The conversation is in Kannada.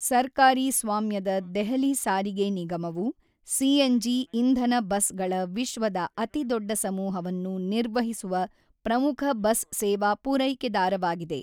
ಸರ್ಕಾರಿ ಸ್ವಾಮ್ಯದ ದೆಹಲಿ ಸಾರಿಗೆ ನಿಗಮವು ಸಿಎನ್‌ಜಿ-ಇಂಧನ ಬಸ್‌ಗಳ ವಿಶ್ವದ ಅತಿದೊಡ್ಡ ಸಮೂಹವನ್ನು ನಿರ್ವಹಿಸುವ ಪ್ರಮುಖ ಬಸ್ ಸೇವಾ ಪೂರೈಕೆದಾರವಾಗಿದೆ.